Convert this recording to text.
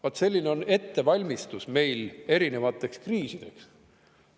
Vaat selline on ettevalmistus meil erinevateks kriisideks!